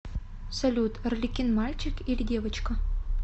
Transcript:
салют арлекин мальчик или девочка